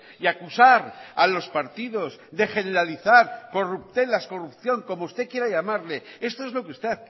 y acusar a los partidos de generalizar corruptelas corrupción como usted quiera llamarlo esto es lo que usted